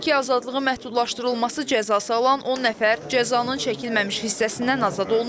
Belə ki, azadlığı məhdudlaşdırılması cəzası alan 10 nəfər cəzanın çəkilməmiş hissəsindən azad olunub.